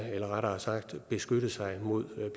eller rettere sagt beskytte sig mod